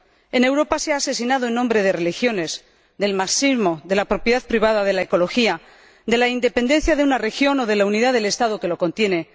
En Europa se ha asesinado en nombre de religiones, del marxismo, de la propiedad privada, de la ecología, de la independencia de una región o de la unidad del Estado que lo contiene.